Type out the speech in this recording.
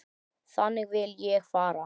Þangað vil ég fara.